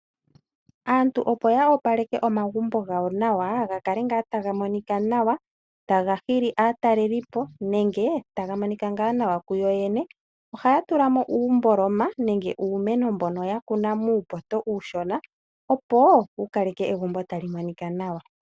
Aantu opo ya opaleke omagumbo gawo nawa ga kale ngaa taga monika nawa taga hili aataelipo nenge taga monika ngaa nawa kuyo yene ohaya tula mo uumboloma nenge uumeno mbono ya kuna muupoto uushona, opo wu kaleke egumbo tali monika nawa.